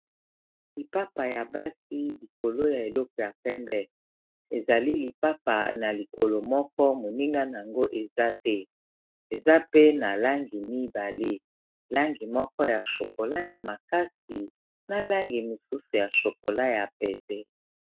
Lipapa ya basi likolo ya eleko ya pembe ezali lipapa na likolo moko moninga nango eza te eza pe na langi mibale langi moko ya shokola ya makasi na langi mosusu ya shokola ya pete.